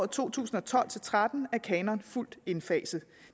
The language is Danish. to tusind og tolv til tretten er kanonen fuldt indfaset